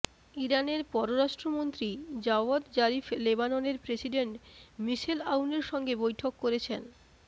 ইরানের পররাষ্ট্রমন্ত্রী Javad Zarif লেবাননের প্রেসিডেন্ট মিশেল আউনের সঙ্গে বৈঠক করেছেন